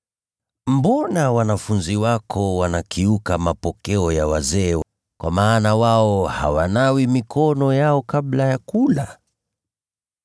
“Mbona wanafunzi wako wanakiuka mapokeo ya wazee? Kwa maana wao hawanawi mikono yao kabla ya kula!”